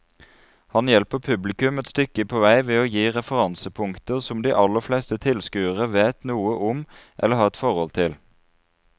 Han hjelper publikum et stykke på vei ved å gi referansepunkter som de aller fleste tilskuere vet noe om eller har et forhold til.